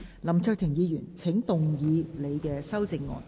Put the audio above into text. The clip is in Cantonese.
林卓廷議員，請動議你的修正案。